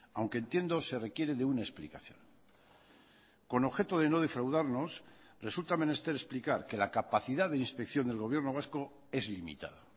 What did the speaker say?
aunque entiendo se requiere de una explicación con objeto de no defraudarnos resulta menester explicar que la capacidad de inspección del gobierno vasco es limitada